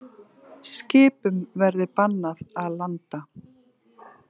Skipum verði bannað að landa